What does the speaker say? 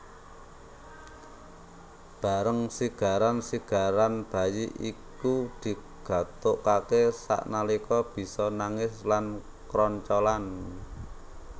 Bareng sigaran sigaran bayi iku digathukaké sanalika bisa nangis lan kroncalan